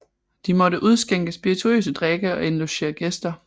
De måtte udskænke spirituøse drikke og indlogere gæster